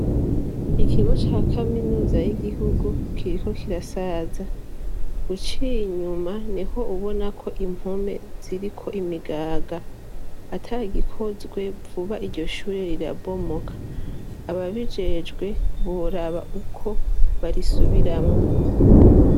Ikigo ca kaminuza y'igihugu kiriko kirasaza ,uciy'inyuma niho ubona ko impome ziriko imigaga, atagikozwe vuba iryo shuri rirabomoka, ababijejwe boraba uko barisubiramwo.